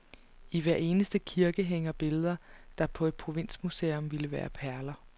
I hver eneste kirke hænger billeder, der på et provinsmuseum ville være perler.